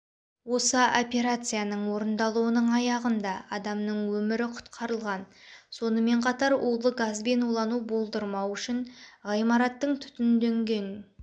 осы операцияның орындалудың аяғында адамның өмірі құтқарылған сонымен қатар улы газбен улану болдырмау үшін ғимараттың түтінденген